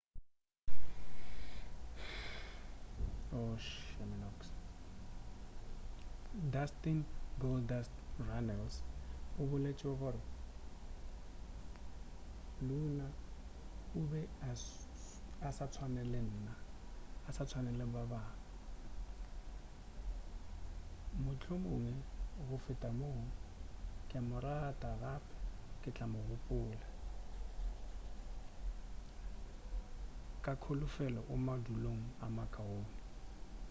dustin goldust runnels o boletše gore luna o be a sa swane le ba bangwe bjalo ka nna mohlomongwe go feta moo ke a mo rata gape ke tla mo gopola ka kholofelo o madulong a makaone